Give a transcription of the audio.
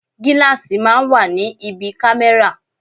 Gíláàsì máa ń wà ní ibi kámẹ́rà.